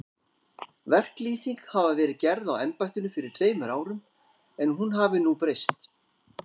Verklýsing hafi verið gerð á embættinu fyrir tveimur árum, en hún hafi nú breyst.